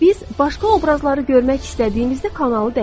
Biz başqa obrazları görmək istədiyimizdə kanalı dəyişirik.